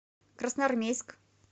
красноармейск